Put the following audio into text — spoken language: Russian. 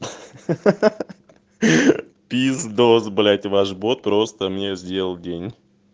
ха-ха-ха пиздос блять ваш бот просто мне сделал день